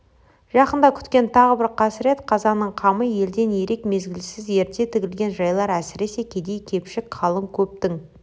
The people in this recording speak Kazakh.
жақында күткен тағы бір қасірет-қазаның қамы елден ерек мезгілсіз ерте тігілген жайлар әсіресе кедей-кепшік қалың көптің